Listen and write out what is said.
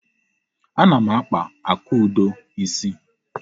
Ana m akpa Akudo isi.